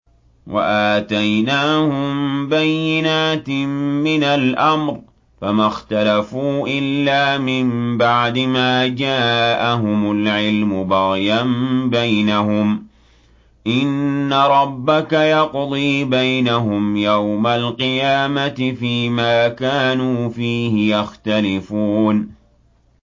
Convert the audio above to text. وَآتَيْنَاهُم بَيِّنَاتٍ مِّنَ الْأَمْرِ ۖ فَمَا اخْتَلَفُوا إِلَّا مِن بَعْدِ مَا جَاءَهُمُ الْعِلْمُ بَغْيًا بَيْنَهُمْ ۚ إِنَّ رَبَّكَ يَقْضِي بَيْنَهُمْ يَوْمَ الْقِيَامَةِ فِيمَا كَانُوا فِيهِ يَخْتَلِفُونَ